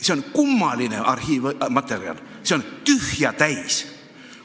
See on kummaline materjal: see on tühja täis.